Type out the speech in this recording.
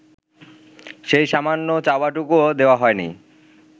সেই সামান্য চাওয়াটুকুও দেওয়া হয়নি